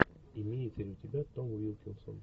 имеется ли у тебя том уилкинсон